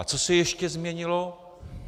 A co se ještě změnilo?